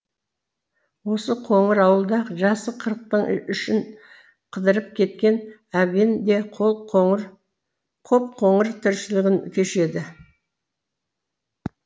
осы қоңыр ауылда жасы қырықтың ішін қыдырып кеткен әбен де қоп қоңыр тіршілігін кешеді